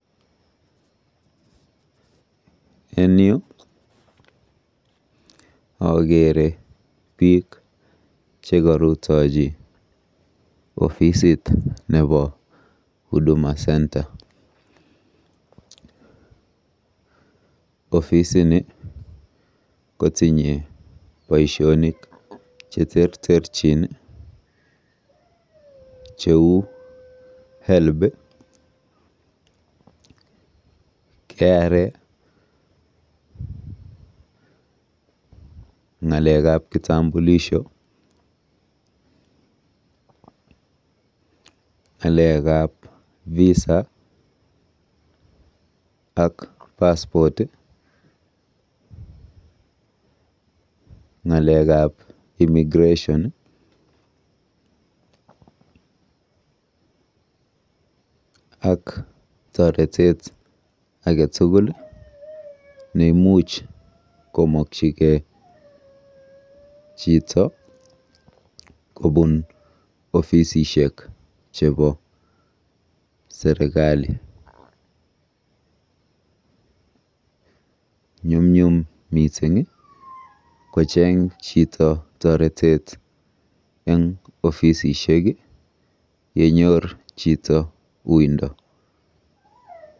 En yu akeere biik chekarutochi ofisit nebo Huduma Centre. Ofisini kotinye boisionik cheterterchin cheu Helb , KRA, ng'alekab kitambulisho, ng'alekab Visa ak passport, ng'alekab immigration'ak toretet age tugul neimuch komokyigei chito kobun ofisishek chebo serikali. Nyumnyum mising kocheng chito toretet eng ofisisishek yenyor chito uindo.